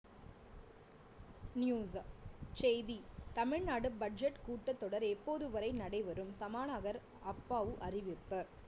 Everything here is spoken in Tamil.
news செய்தி தமிழ்நாடு budget கூட்டத் தொடர் எப்போது வரை நடைபெரும் சபாநாயகர் அப்பாவு அறிவிப்பு